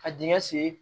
Ka dingɛ sen